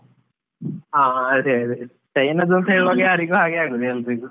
ಹಾ ಅದೆ ಅದೆ China ದು ಅಂತ ಹೇಳುವಾಗ ಅದು ಯಾರಿಗೂ ಹಾಗೆ ಆಗುವುದು, ಎಲ್ರಿಗೂ.